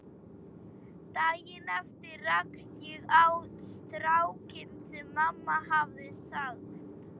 Daginn eftir rakst ég á strákinn sem mamma hafði sagt